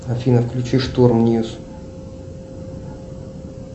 афина включи шторм ньюс